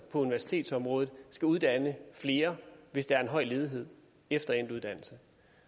på universitetsområdet skal uddanne flere hvis der er en høj ledighed efter endt uddannelse